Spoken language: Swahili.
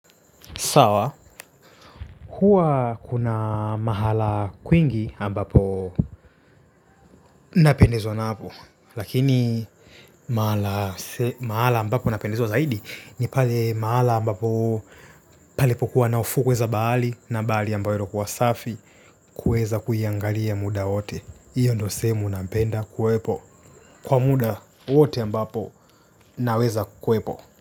Sawa, kuwa kuna mahala kwingi ambapo napendezwa napo. Lakini mahala ambapo napendezewa zaidi, ni pale mahala ambapo palipokuwa fukwe za bahari na bahari ambayo inakuwa safi kuweza kuiangalia muda wote hiyo ndo sehemu napenda kuwepo kwa muda wote ambapo naweza kuwepo.